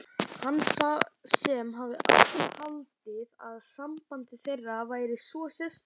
Hann sem hafði haldið að samband þeirra væri svo sérstakt.